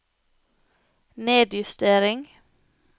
nedjustering